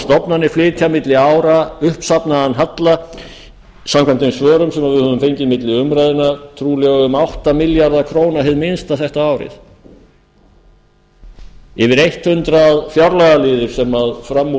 stofnanir flytja milli ára uppsafnaðan halla samkvæmt þeim svörum sem við höfum fengið milli umræðna trúlega um átta milljarða króna hið minnsta þetta árið yfir hundrað fjárlagaliðir sem fram úr